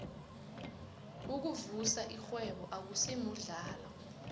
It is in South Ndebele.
ukuvusa irhwebo akusimuhlalo